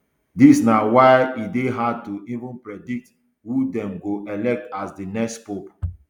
dis na why e dey hard to even predict who dem go elect as di next pope